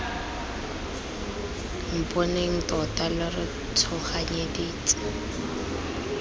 mponeng tota lo re tshoganyeditse